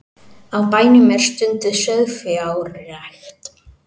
Á bænum er stunduð sauðfjárrækt